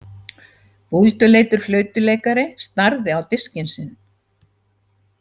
Búlduleitur flautuleikari starði á diskinn sinn.